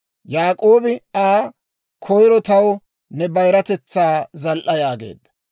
Yaak'oobi Aa, «Koyro taw ne bayiratetsaa zal"a» yaageedda.